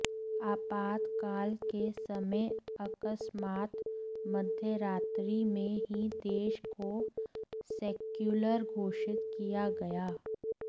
आपातकाल के समय अकस्मात मध्यरात्रि में ही देश को सेक्यूलर घोषित किया गया